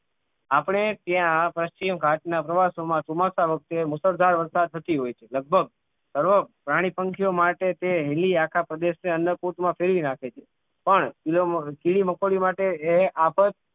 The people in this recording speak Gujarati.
આપણે ત્યાં પશ્ચિમ ઘાટ ના પ્રવાસો માં ચોમાસા વખતે મુશળધાર વરસાદ થી હોય છે લગભગ અરબ પ્રાણી પંખીઑ માટે તે હેલી આખા પ્રદેશ ને અન્નકૂટમાં ફેરવી નાખે છે પણ કીડી મકોડી માટે જે આફત